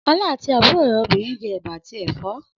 Ọlá àti àbúrò rẹ̀ obìnrin jẹ ẹ̀bà àti ẹ̀fọ́.